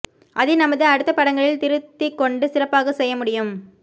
அதை நமது அடுத்த படங்களில் திருத்திக்கொண்டு சிறப்பாகச் செய்ய முடியும்